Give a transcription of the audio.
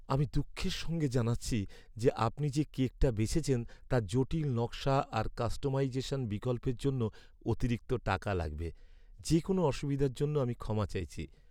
আমি দুঃখের সঙ্গে জানাচ্ছি যে আপনি যে কেকটা বেছেছেন তার জটিল নকশা আর কাস্টমাইজেশন বিকল্পের জন্য অতিরিক্ত টাকা লাগবে। যে কোনও অসুবিধার জন্য আমি ক্ষমা চাইছি।